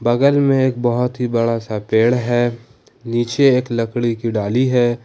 बगल में एक बहुत ही बड़ा सा पेड़ है नीचे एक लकड़ी की डाली है।